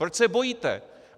Proč se bojíte?